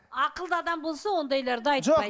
ақылды адам болса ондайларды айтпайды